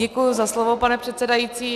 Děkuji za slovo, pane předsedající.